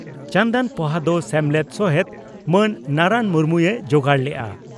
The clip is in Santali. ᱪᱟᱱᱫᱟᱱ ᱯᱚᱦᱟ ᱫᱚ ᱥᱮᱢᱞᱮᱫ ᱥᱚᱦᱮᱛ ᱢᱟᱹᱱ ᱱᱟᱨᱟᱱ ᱢᱩᱨᱢᱩᱭ ᱡᱳᱜᱟᱲ ᱞᱮᱫᱼᱟ ᱾